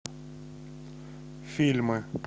фильмы